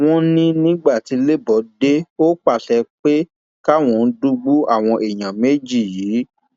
wọn ní nígbà tí lebo dé ó pàṣẹ pé káwọn dìgbù àwọn èèyàn méjì yìí